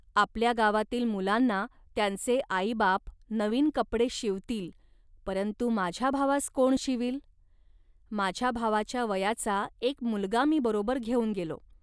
आपल्या गावातील मुलांना त्यांचे आईबाप नवीन कपडे शिवतील, परंतु माझ्या भावास कोण शिवील. माझ्या भावाच्या वयाचा एक मुलगा मी बरोबर घेऊन गेलो